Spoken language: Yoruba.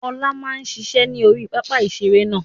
Ọlá máa ń ṣiṣẹ́ ni orí pápá ìṣeré náà